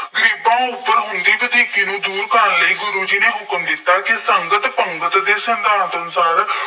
ਗਰੀਬਾਂ ਉੱਪਰ ਹੁੰਦੀ ਵਧੀਕੀ ਨੂੰ ਦੂਰ ਕਰਨ ਲਈ ਗੁਰੂ ਜੀ ਨੇ ਹੁਕਮ ਦਿੱਤਾ ਕਿ ਸੰਗਤ ਪੰਗਤ ਦੇ ਸਿਧਾਂਤ ਅਨੁਸਾਰ